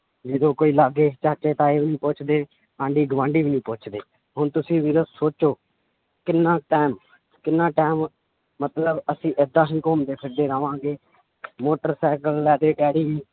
ਜਦੋਂ ਕੋਈ ਲਾਗੇ ਚਾਚੇ ਤਾਏ ਵੀ ਨੀ ਪੁੱਛਦੇ ਆਂਢੀ ਗੁਆਂਢੀ ਵੀ ਨੀ ਪੁੱਛਦੇ ਹੁਣ ਤੁਸੀਂ ਵੀਰੋ ਸੋਚੋ ਕਿੰਨਾ time ਕਿੰਨਾ time ਮਤਲਬ ਅਸੀਂ ਏਦਾਂ ਹੀ ਘੁੰਮਦੇ ਫਿਰਦੇ ਰਵਾਂਗੇ ਮੋਟਰ ਸਾਇਕਲ ਲੈ ਦੇ ਡੈਡੀ